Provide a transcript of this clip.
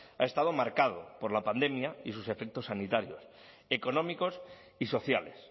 ha estado marcado por la pandemia y sus efectos sanitarios económicos y sociales